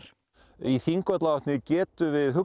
í Þingvallavatni getum við